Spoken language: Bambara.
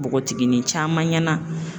Bogotiginin caman ɲɛna.